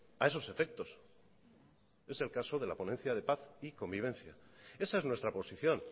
a esos efectos es el caso de la ponencia de paz y convivencia esa es nuestra posición